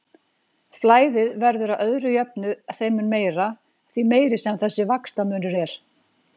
Flæðið verður að öðru jöfnu þeim mun meira, því meiri sem þessi vaxtamunur er.